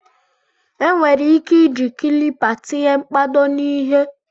enwere ike iji kịlịpù tinye mkpado na ihe